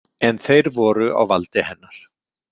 En þeir voru á valdi hennar.